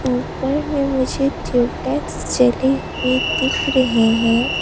ऊपर में मुझे ट्यूबलाइट जली हुई दिख रहे है।